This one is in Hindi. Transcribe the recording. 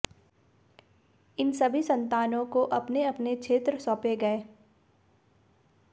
इन सभी संतानों को अपने अपने क्षेत्र सौंपे गए